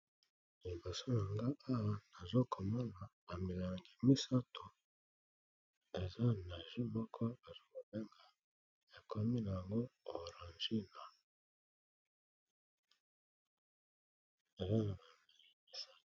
Liboso nangai Awa nazokomona ba milangi misatu eza na juice bazokobenga orangina eza na langi mosaka.